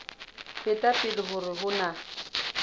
feta pele hore ho na